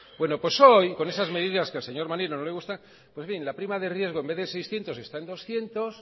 bueno pues hoy con esas medidas que al señor maneiro no le gustan la prima de riesgo en vez de seiscientos está en doscientos